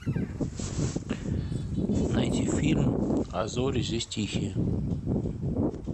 найти фильм а зори здесь тихие